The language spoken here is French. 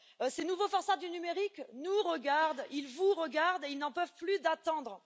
ces nouveaux forçats du numérique nous regardent, ils vous regardent et ils n'en peuvent plus d'attendre.